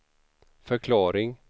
förklaring